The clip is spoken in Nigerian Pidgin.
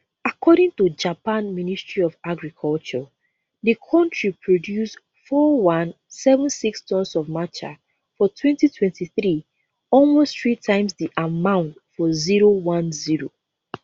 according to japan ministry of agriculture di country produce 4176 tons of matcha for 2023 almost three times di amount for010